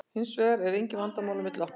Hins vegar eru engin vandamál á milli okkar.